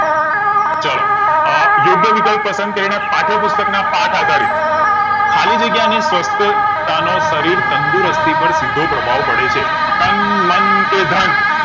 ચલો અ યોગ્ય વિકલ્પ પસંદ કરીને પાઠય પુસ્તક ના પાઠ આધારિત ખાલી જગ્યા ની સવ્યથતા નો શરીર તંદુરસ્તી પર સીધો પ્રભાવ પડે છે તન મન કે ધન